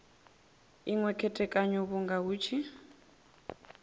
inwe khethekanyo vhunga hu tshi